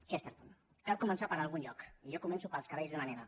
chesterton cal començar per algun lloc i jo començo pels cabells d’una nena